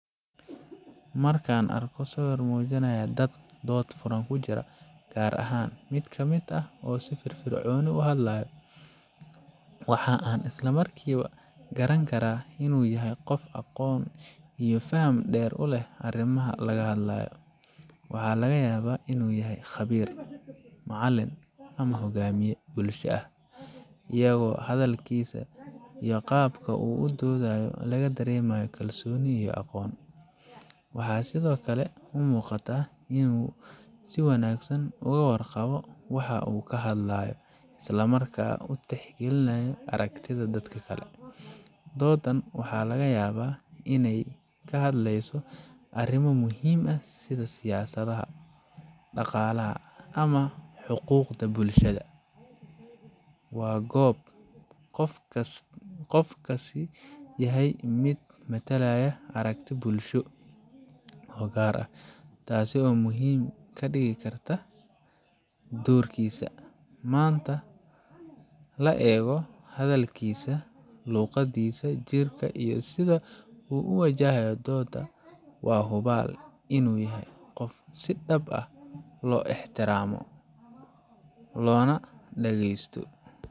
Markan arko sawir mujinayo dad dood furan kujira ,gaar ahan oo si firfirconi u hadlayo waxan isla markiba garaan inu yahay qof garanayo waxa laga hadlayo. Waxa laga yabaa inu yahay khabir, ama maalin ama hogamiye bulsho ah ,iyago laga daremayo qabku oo dodhayo kalsoni iyo aqon. Waxa sidoo kale u muqataa waxa u kahadlayo inu si wanagsan uga waar qawo oo aragtida dadka kale si wanagsan u tehgalinayo. Dodan waxa laga yawa iney kahadleyso arimo muhim ah sidha siyasadaha ,daqalaha ama huquqda bulshada. Waa gob qof kasta yahay miid matalaya aragti bulsho oo gar ah, tasi oo mujinesa oo muhim kadigi karta dorkisa .Manta laego ,hadalkisa ,luqadisa iyo sidha u u wajahayo dodaa waa hubal inu yahay qof si dab ah lo ixtiramo lonaa dhagesto .